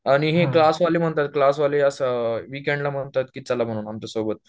आणि हे क्लास वाले म्हणताय, क्लास वाले ह्या असं वीकेंडला म्हणतात की चला म्हणून आमच्या सोबत